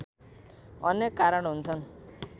अनेक कारण हुन्छन्।